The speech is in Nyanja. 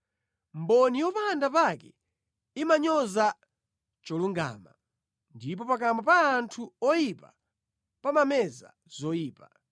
Mboni yopanda pake imanyoza cholungama, ndipo pakamwa pa anthu oyipa pamameza zoyipa.